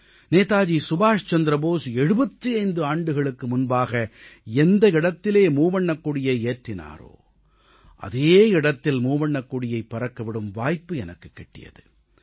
நேதாஜி சுபாஷ் சந்திர போஸ் 75 ஆண்டுகளுக்கு முன்பாக எந்த இடத்திலே மூவண்ணக் கொடியை ஏற்றினாரோ அதே இடத்தில் மூவண்ணக் கொடியைப் பறக்கவிடும் வாய்ப்பு எனக்குக் கிட்டியது